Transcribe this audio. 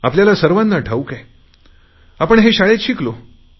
आपल्याला सर्वांना ठाऊक आहे आपण शाळेत हे शिकलो आहे